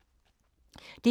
DR1